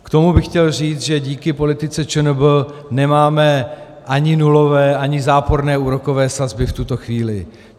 K tomu bych chtěl říct, že díky politice ČNB nemáme ani nulové, ani záporné úrokové sazby v tuto chvíli.